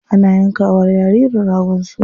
Ana yanka wa jaririn ragon suna.